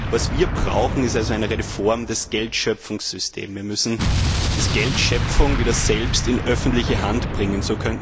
Was wir brauchen, ist eine reelle Form des Geldschöpfungssystems. Wir müssen das Geldschöpfen wieder selbst in öffentliche Hand bringen.